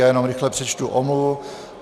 Já jenom rychle přečtu omluvu.